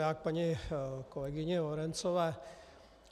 Já k paní kolegyni Lorencové.